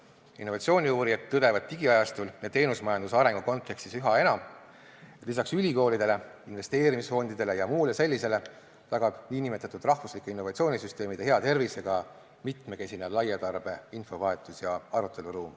Innovatsiooniuurijad tõdevad digiajastul ja teenusmajanduse arengu kontekstis üha enam, et lisaks ülikoolidele, investeerimisfondidele ja muule sellisele tagab nn rahvuslike innovatsioonisüsteemide hea tervise ka mitmekesine laiatarbe infovahetus- ja aruteluruum.